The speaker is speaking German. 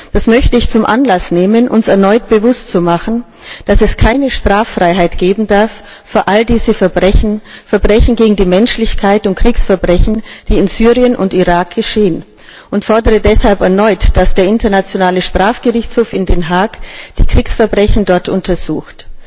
Das möchte ich zum Anlass nehmen, uns erneut bewusst zu machen, dass es keine Straffreiheit geben darf für alle diese Verbrechen Verbrechen gegen die Menschlichkeit und Kriegsverbrechen die in Syrien und Irak geschehen, und ich fordere deshalb erneut, dass der Internationale Strafgerichtshof in Den Haag die Kriegsverbrechen dort untersucht.